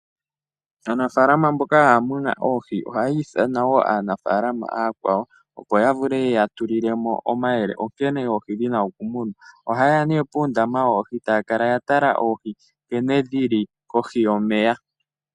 Aanafalama mboka haya muna oohi ohaya ithana wo aanafalama aakwawo, opo ya vule ye ya tulile mo omayele onkene oohi dhina okumunwa. Oha yeya nee pondama yoohi taya kala ya tala oohi nkene dhi li kohi yomeya.